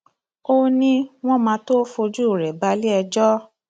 o ní wọn máa tóó fojú rẹ balẹẹjọ